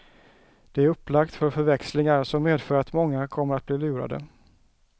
Det är upplagt för förväxlingar, som medför att många kommer att bli lurade.